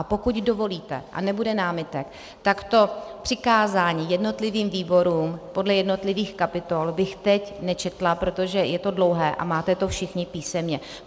A pokud dovolíte a nebude námitek, tak to přikázání jednotlivým výborům podle jednotlivých kapitol bych teď nečetla, protože je to dlouhé a máte to všichni písemně.